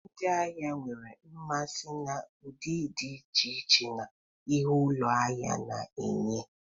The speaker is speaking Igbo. Ndị ahịa nwere mmasị na ụdị dị iche iche na ihe ụlọ ahịa na-enye.